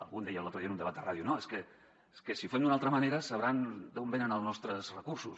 algú deia l’altre dia en un debat de ràdio no és que si ho fem d’una altra ma·nera sabran d’on venen els nostres recursos